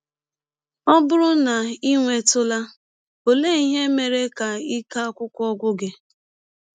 Ọ bụrụ na i um nwetụla um, ọlee ihe mere ka ike akwụkwọ gwụ gị?